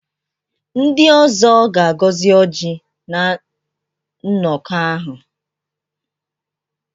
Ndị ọzọ ga-agọzi Ọji na nnọkọ ahụ.